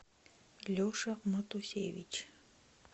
леша матусевич